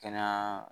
Kɛnɛya